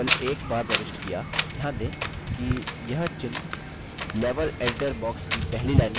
ध्यान दें कि यह चिह्न level editor box की पहली line में प्रदर्शित हो रहे हैं